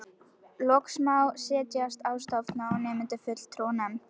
Loks má setja á stofn svo nefnda fulltrúanefnd.